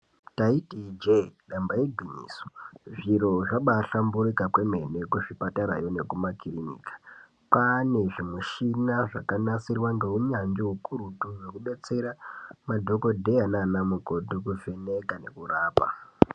Taiti ijee damba igwinyiso. Zviro zvabahlamburuka kwemene kuzvipatarayo nekumakirinika. Kwane zvimushina zvakanasirwa neunyanzvi ukurutu zvekudetsera madhokodheya nanamukoti kuvheneka nekurapa.